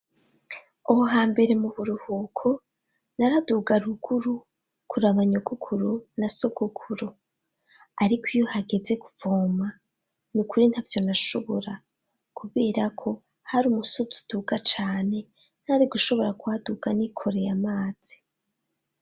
Aho hambere mu buruhuko naraduga ruguru kuraba nyogukuru na sogukuru ariko iyo hageze kuvoma ni ukuri ntavyo nashobora kubera ko hari umusozi uduga cane ntari gushobora kuhaduga n'ikoreye amazi.